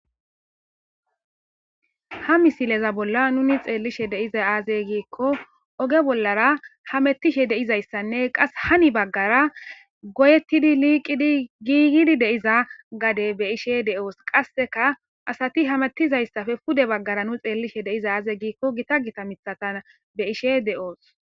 ha misileza bolla nuni xeellishe deiza aaze giikko oge bollara hamettishe deizayssanne qas hani baggara goyettidi liiqidi giigidi deiza gade be ishe de7oos qasseka asati hamettizayssafe pude baggara nu xeellishe deiza aaze giikko gita gita mithatan be ishe de7oos